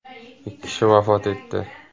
Ikki kishi vafot etdi .